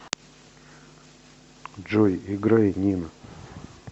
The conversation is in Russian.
джой играй нена